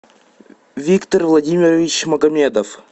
виктор владимирович магомедов